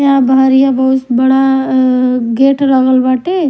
इहाँ बहरिया बहुत बड़ा गाते ल्गल बाटे--